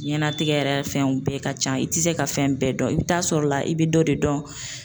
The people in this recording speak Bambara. Ɲɛnatigɛ yɛrɛ fɛnw bɛɛ ka ca i tɛ se ka fɛn bɛɛ dɔn i bɛ taa sɔrɔ la i bɛ dɔ de dɔn